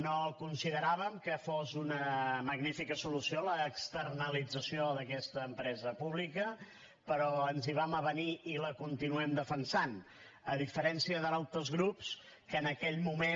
no consideràvem que fos una magnífica solució l’externalització d’aquesta empresa pública però ens hi vam avenir i la continuem defensant a diferència d’altres grups que en aquell moment